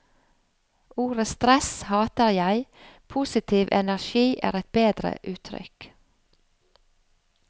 Ordet stress hater jeg, positiv energi er et bedre uttrykk.